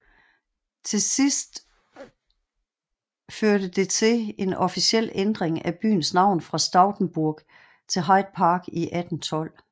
Til sidst første det til en officiel ændring af byens navn fra Stoutenburgh til Hyde Park i 1812